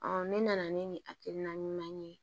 ne nana ni nin hakilina ɲuman ye